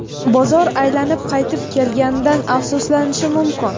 bozor aylanib qaytib kelganidan afsuslanishi mumkin.